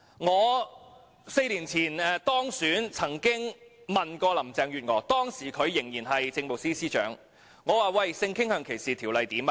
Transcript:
我4年前當選議員時曾詢問時任政務司司長林鄭月娥：性傾向歧視條例如何了？